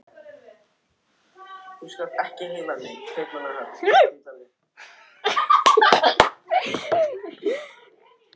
Grænn karl birtist og ég keyri af stað.